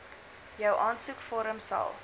jou aansoekvorm sal